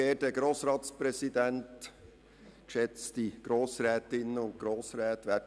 Ich erteile dem Regierungsrat das Wort.